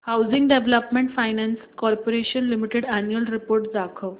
housing development finance corporation limited annual report दाखव